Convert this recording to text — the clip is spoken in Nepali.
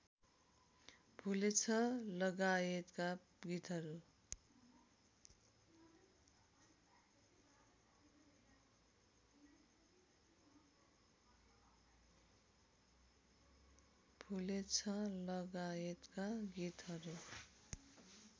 भुलेछ लगायतका गीतहरू